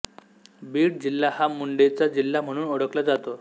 बीड जिल्हा हा मुंडेंचा जिल्हा म्हणून ओळखला जातो